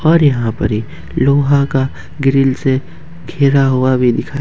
और यहां पर एक लोहा का ग्रिल से घिरा हुआ भी दिखाए।